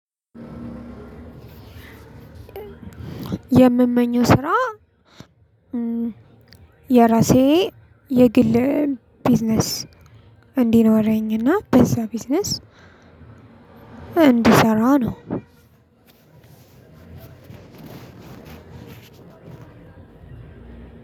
የምመኘው ስራ የራሴ የግል ቢዝነስ እንዲኖረኝና በዛ ቢዝነስ እንድሰራ ነው።